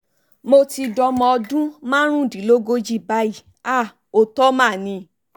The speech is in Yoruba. mo ti dọmọ ọdún márùndínlógójì báyìí àá òótọ́ mà ni